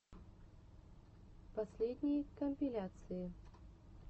последние компиляции